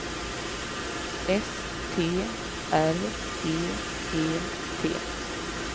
S T R E E T